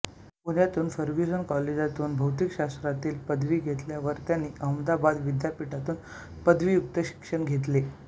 पुण्याच्या फर्ग्युसन काॅलेजातून भौतिकशास्त्रातील पदवी घेतल्यावर त्यांनी अहमदाबाद विद्यापीठातून पदव्युत्तर शिक्षण घेतले